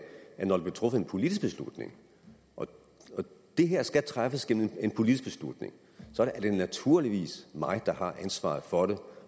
at når der bliver truffet en politisk beslutning det her skal træffes gennem en politisk beslutning så er det naturligvis mig der har ansvaret for det